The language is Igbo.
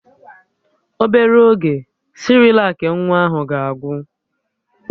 Obere oge, Sịrịlak nwa ahụ ga-agwụ